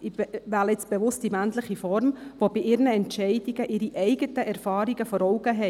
ich wähle bewusst die männliche Form –, die bei ihren Entscheidungen ihre eigenen Erfahrungen vor Augen haben.